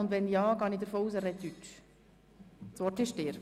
Wenn ja, gehe ich davon aus, dass er Deutsch sprechen wird.